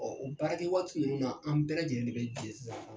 Ɔɔ, o baarakɛ waati nunnu na an bɛɛ lajɛlen bɛ jɛ sisan